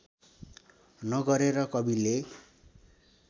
न गरेर कविले